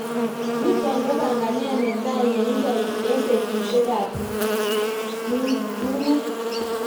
nitok ko panganet netai neindoi eng betushek ab tungwek